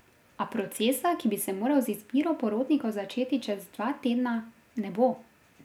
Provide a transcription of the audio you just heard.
A procesa, ki bi se moral z izbiro porotnikov začeti čez dva tedna, ne bo.